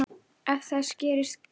Ef þess gerist þörf